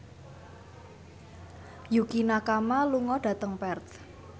Yukie Nakama lunga dhateng Perth